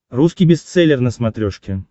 русский бестселлер на смотрешке